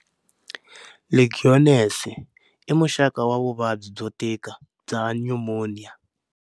Legionnaires i muxaka wa vuvabyi byo tika bya nyumoniya.